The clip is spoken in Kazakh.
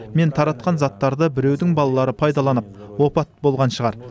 мен таратқан заттарды біреудің балалары пайдаланып опат болған шығар